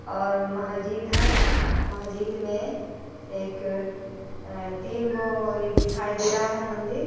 और मस्जिद है मस्जिद में एक तीन गाय दिखाई दे रहा है मंदिर में --